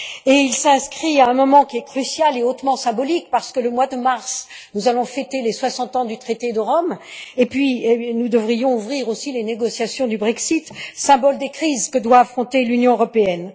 De plus, il s'inscrit à un moment crucial et hautement symbolique puisque, en ce mois de mars, nous allons fêter les soixante ans du traité de Rome et nous devrions ouvrir aussi les négociations du Brexit, symbole des crises que doit affronter l'Union européenne.